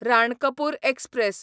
Ranakpur express